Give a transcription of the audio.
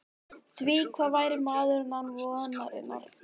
Því hvað væri maðurinn án vonarinnar?